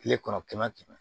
Kile kɔnɔ kɛmɛ kɛmɛ